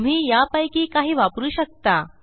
तुम्ही यापैकी काही वापरू शकता